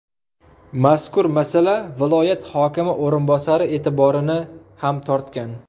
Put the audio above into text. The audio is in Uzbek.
Mazkur masala viloyat hokimi o‘rinbosari e’tiborini ham tortgan.